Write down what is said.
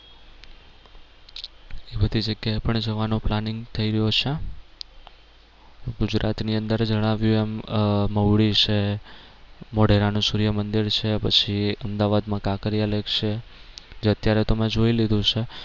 બધી જગ્યા એ પણ જવાનું planning થઈ રહ્યું છે. ગુજરાત ની અંદર જણાવ્યું એમ આહ મહુડી છે મોઢેરાનું સુર્યમંદિર છે પછી અમદાવાદ માં કાંકરિયા lake છે જે અત્યારે તો મેં જોઈ લીધું છે.